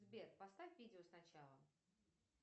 сбер поставь видео сначала